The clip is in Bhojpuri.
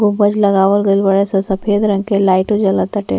गुंबज लगावल गइल बाड़े और सफ़ेद रंग के लाइटो जल ताटे --